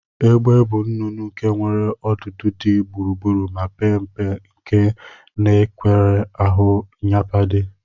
Egbe bu nnụnụ nke nwere ọdudu di gburugburu ma pe mpe nke nwekwara ahu nyapade.